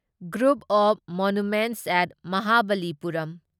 group of monuments at Mahabalipuram